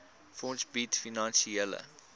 fonds bied finansiële